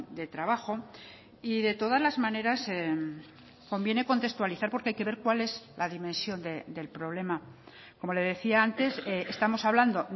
de trabajo y de todas las maneras conviene contextualizar porque hay que ver cuál es la dimensión del problema como le decía antes estamos hablando